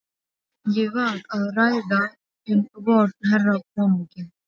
Ég var að ræða um vorn herra konunginn.